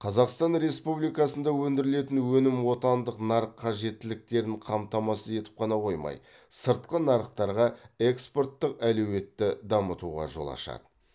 қазақстан республикасында өндірілетін өнім отандық нарық қажеттіліктерін қамтамасыз етіп қана қоймай сыртқы нарықтарға экспорттық әлеуетті дамытуға жол ашады